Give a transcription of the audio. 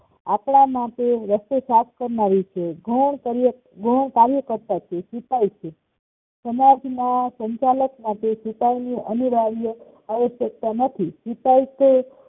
આપણા માટે રસ્તો સાફ કરનારી છે ગૌણ કાર્ય કાર્યકર્તા છે સિપાઈ છે સમાજમાં સંચાલક માટે સિપાઈ અનિવાર્ય આવશ્યકતા નથી